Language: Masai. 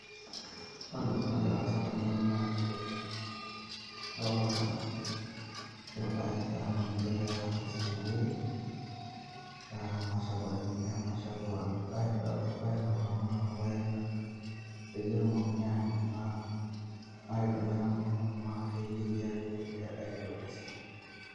Ore entoki nagira aasa tene naa nchere adolita irpaek aa ninche egirai aakes tenewueji aitayu ipaek peyie etumokini aashomoita aidong'o aitayunyie enkurma ashu eyieri ake nijia aitaa orkeseri.